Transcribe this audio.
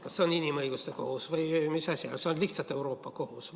Kas see on inimõiguste kohus või mis asi on see lihtsalt Euroopa Kohus?